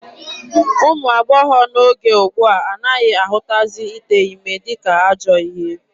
Ụmụ agbọghọ n'oge ugbua anaghị ahụtazi ite ime dịka ajọọ ihe.